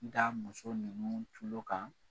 D muso ninnu tulo kan.